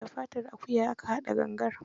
Da fatar akuya aka haɗa gangar.